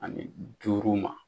Ani duuru ma.